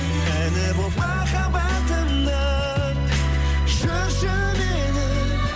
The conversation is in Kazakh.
әні болып махаббатымның жүрші менің